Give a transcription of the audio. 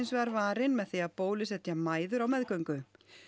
vegar varin með því að bólusetja mæður á meðgöngu